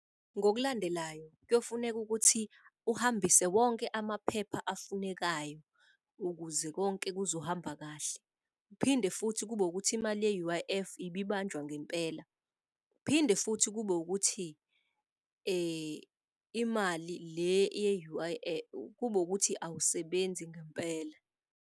Ngokulandelayo, kuyofuneka ukuthi uhambise wonke amaphepha afunekayo ukuze konke kuzohamba kahle. Kuphinde futhi kube ukuthi imali ye-U_I_F ebibanjwa ngempela, kuphinde futhi kube ukuthi imali le eye-U_I_F kube ukuthi awusebenzi ngempela.